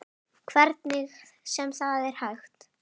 Hvernig sem það er hægt.